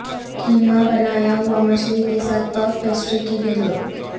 کیما بنایا ہوا مچھلی کے ساتھ پف پیسٹری کی گیندوں